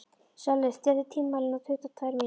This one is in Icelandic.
Sölvi, stilltu tímamælinn á tuttugu og tvær mínútur.